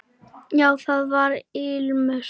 Já, það var ilmur!